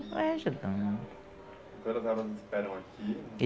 e vai ajudando né. E todas elas esperam aqui?